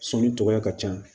Sɔni cogoya ka ca